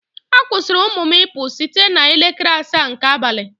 A kwụsịrị ụmụ m ịpụ site n'elekere asaa nke abalị